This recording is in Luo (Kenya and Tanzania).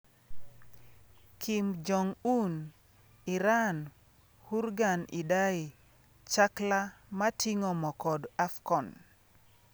Kim Jong Un, Iran, Hurgan Idai, chakla mating'o mo kod Afcon